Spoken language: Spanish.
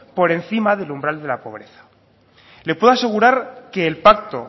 por encima del umbral de la pobreza le puedo asegurar que el pacto